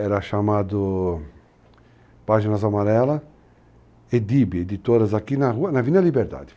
Era chamado páginas amarelas, Edibe, editoras aqui na rua, avenida Liberdade.